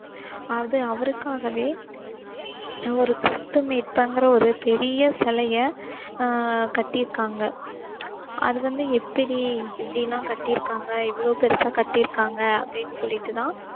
அது அவருக்காகவே ஒரு கிறிஸ்து மீட்பர்ங்கிற ஒரு பெரிய சிலைய அஹ் கட்டியிருக்காங்க அது வந்து எப்படி எப்படி எல்லாம் கட்டியிருக்காங்க எவ்வளவு பெருசா கட்டிருக்காங்க அப்படின்னு சொல்லிட்டு தான்